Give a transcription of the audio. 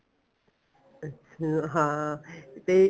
ਅੱਛਾ ਹਾਂ ਤੇ